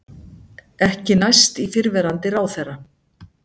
Ekki næst í fyrrverandi ráðherra